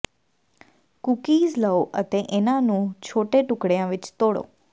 cookies ਲਓ ਅਤੇ ਇਹਨਾਂ ਨੂੰ ਛੋਟੇ ਟੁਕੜਿਆਂ ਵਿੱਚ ਤੋੜੋ